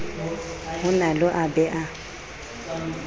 ho nalo a be a